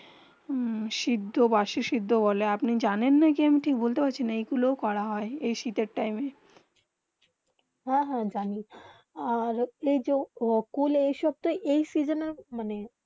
হেঁ সিদ্ধ বাসি সিদ্ধ বলে আপনি জানি না কি আমি ঠিক বলতে পাচ্ছি না এই গুলু করা হয়ে এই শীতে টাইম. হেঁ হেঁ জানি ওর যে কূল এই সব তো এই সিজনে মানে